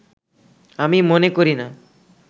আমি মনে করি না